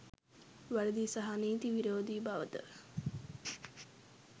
වැරදි සහ නීති විරෝධී බවද